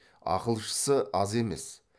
ақылшысы аз емес